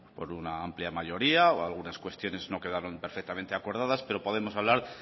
por una amplia mayoría o algunas cuestiones no quedaron perfectamente acordadas pero podemos hablar